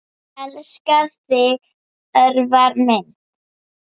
Elska þig, Örvar minn.